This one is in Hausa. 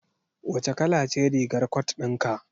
Wace kala ce rigar cot din ka?